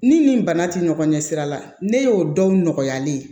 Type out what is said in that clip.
Ni nin bana tɛ ɲɔgɔn ɲɛ sira la ne y'o dɔw nɔgɔya ne ye